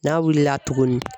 N'a wilila tuguni